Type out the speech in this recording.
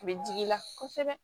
A bɛ digi i la kosɛbɛ